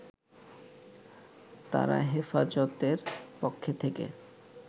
তারা হেফাজতের পক্ষ থেকে